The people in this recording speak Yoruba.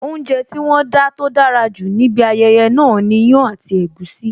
Oúnjẹ tí wón dá tó dára jù níbi ayẹyẹ náà ni iyán àti egusi